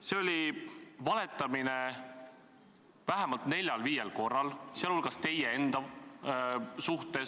See oli valetamine vähemalt neljal-viiel korral, sealhulgas teie enda kohta.